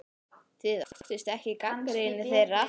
Þið óttist ekki gagnrýni þeirra?